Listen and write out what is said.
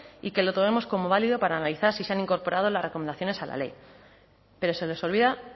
y que lo tomemos como válido para analizar si se han incorporado las recomendaciones a la ley pero se les olvida